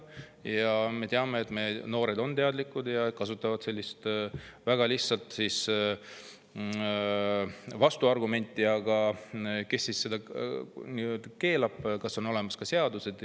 Aga me teame, et meie noored on teadlikud ja kasutavad sellist väga lihtsat vastuargumenti: aga kas selleks keelamiseks on olemas seadused?